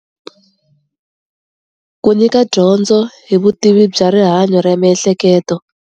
ku nyika dyondzo hi vutivi bya rihanyo ra miehleketo